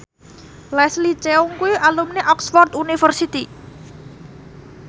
Leslie Cheung kuwi alumni Oxford university